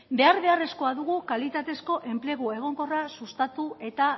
behar beharrezkoa dugu kalitatezko enplegu egonkorra sustatu eta